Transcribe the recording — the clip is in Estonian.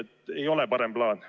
See ei ole parem plaan.